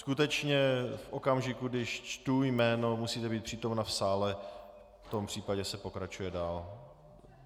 Skutečně v okamžiku, když čtu jméno, musíte být přítomna v sále, v tom případě se pokračuje dál.